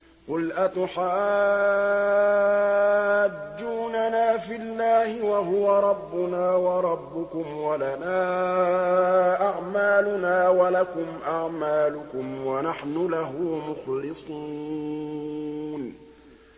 قُلْ أَتُحَاجُّونَنَا فِي اللَّهِ وَهُوَ رَبُّنَا وَرَبُّكُمْ وَلَنَا أَعْمَالُنَا وَلَكُمْ أَعْمَالُكُمْ وَنَحْنُ لَهُ مُخْلِصُونَ